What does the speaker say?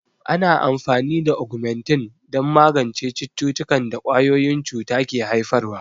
Ana amfani da Ogmentin don magance cututtukan da ƙwayoyin cuta ke haifarwa.